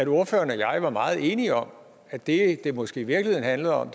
ordføreren og jeg meget enige om at det det måske i virkeligheden handlede om